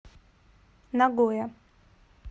нагоя